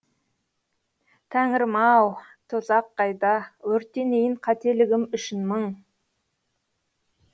тәңірім ау тозақ қайда өртенейін қателігім үшін мың